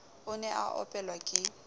o ne a opelwa ke